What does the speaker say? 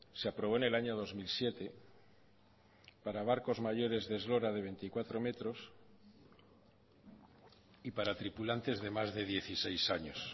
se aprobó en el año dos mil siete para barcos mayores de eslora de veinticuatro metros y para tripulantes de más de dieciséis años